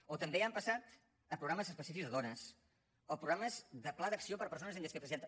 o també han passat a programes específics de dones a programes de pla d’acció per a persones amb discapacitat